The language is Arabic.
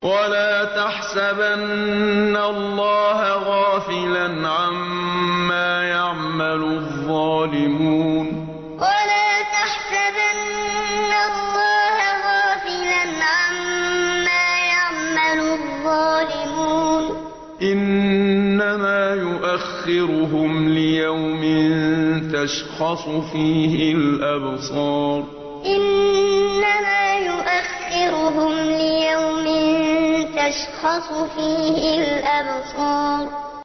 وَلَا تَحْسَبَنَّ اللَّهَ غَافِلًا عَمَّا يَعْمَلُ الظَّالِمُونَ ۚ إِنَّمَا يُؤَخِّرُهُمْ لِيَوْمٍ تَشْخَصُ فِيهِ الْأَبْصَارُ وَلَا تَحْسَبَنَّ اللَّهَ غَافِلًا عَمَّا يَعْمَلُ الظَّالِمُونَ ۚ إِنَّمَا يُؤَخِّرُهُمْ لِيَوْمٍ تَشْخَصُ فِيهِ الْأَبْصَارُ